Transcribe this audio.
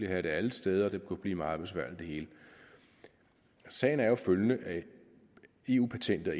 have det alle steder og det hele kunne blive meget besværligt sagen er følgende eu patentet og